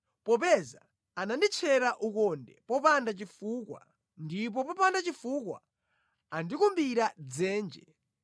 Popeza ananditchera ukonde popanda chifukwa ndipo popanda chifukwa andikumbira dzenje,